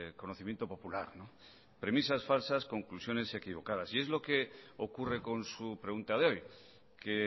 conocimiento popular premisas falsas conclusiones equivocadas y es lo que ocurre con su pregunta de hoy que